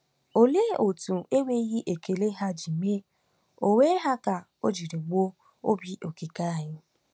Òlee otú enweghị ekele ha ji mee onwe ha ka o jiri gbuo Obi Okike anyị!